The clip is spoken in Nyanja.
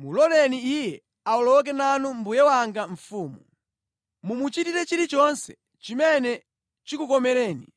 Muloleni iye awoloke nanu mbuye wanga mfumu. Mumuchitire chilichonse chimene chikukomereni!”